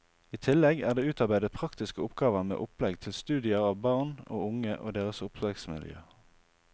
I tillegg er det utarbeidet praktiske oppgaver med opplegg til studier av barn og unge og deres oppvekstmiljø.